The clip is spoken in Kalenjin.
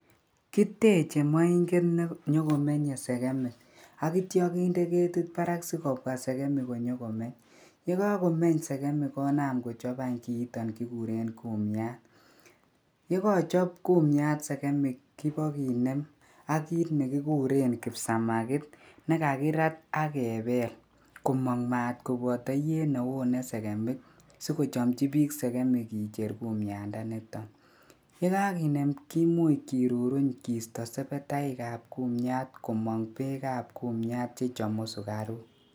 Kiteche moinget nenyokomenye segemik ak kitya kinde ketit barak sikobwa segemik konyokomech. Yekomeny segemik konam kochob any kiiton kiguren kumiat. Yekachop kumiat segemik kibakinem ak kit negikuren kipsamagit ne kakirat ak kebel komong mat koboto iyet ne one segemik, sikochamchi bik segemik kicher kumuatndanitok. Ye kakinem, kimuch kiruruny kiisto sebetaikab kumiat komang beekab kumiat che chamu sugaruk.